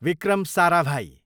Vikram Sarabhai